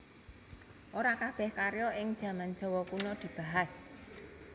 Ora kabèh karya ing jaman Jawa Kuna dibahas